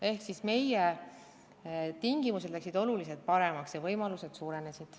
Ehk meie tingimused läksid oluliselt paremaks ja võimalused suurenesid.